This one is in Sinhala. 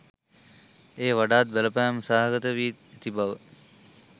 එය වඩාත් බලපෑම් සහගත වී ඇති බව